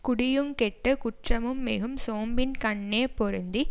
குடியுங் கெட்டு குற்றமும் மிகும் சோம்பின்கண்ணே பொருந்தி